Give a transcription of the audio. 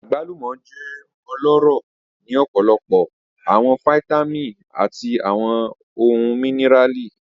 Agbalumo jẹ ọlọrọ ni ọpọlọpọ awọn fitamini ati awọn ohun míníràlì.